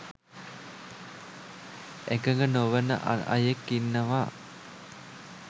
එකග නොවන අයෙක් ඉන්නවා